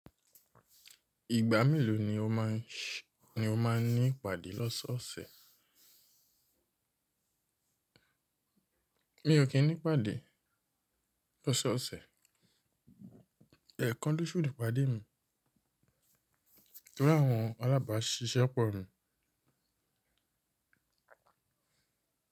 Ìgbà mélòó ni o máa ń ní ìpàdé lọ́sọ́ ọ̀sẹ̀? Mi ò kí ń ní ìpàdé lọ́sọ́ ọ̀sẹ̀. Ẹ̀kan lósù ni ìpàdé mi. Torí àwọn alábàáṣiṣẹ́ pọ̀ ni.